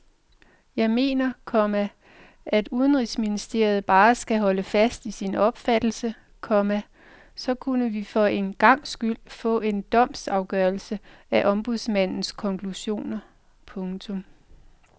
Jeg mener, komma at udenrigsministeriet bare skal holde fast i sin opfattelse, komma så kunne vi for en gangs skyld få en domstolsafgørelse af ombudsmandens konklusioner. punktum